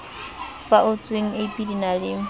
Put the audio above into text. faotsweng ab di na le